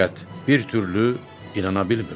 Fəqət bir türlü inana bilmirdi.